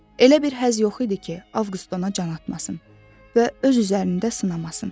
Elə bir həz yox idi ki, Avqust ona can atmasın və öz üzərində sınamasın.